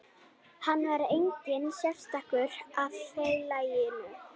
Hann var einnig sektaður af félaginu